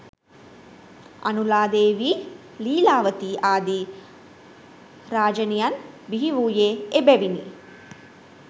අනුලා දේවී, ලීලාවතී ආදී රාජණියන් බිහිවූයේ එබැවිනි.